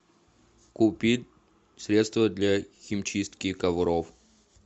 купи средство для химчистки ковров